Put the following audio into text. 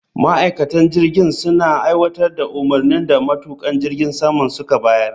Ma'aikatan jirgin suna aiwatar da umarnin da matukan jirgin suka bayar